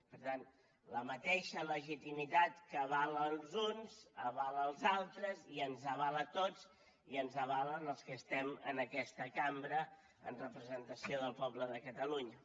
per tant la mateixa legitimitat que avala els uns avala els altres i ens avala a tots i ens avala als que estem en aquesta cambra en representació del poble de catalunya